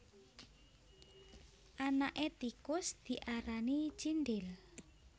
Anaké tikus diarani cindhil